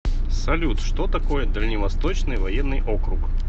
салют что такое дальневосточный военный округ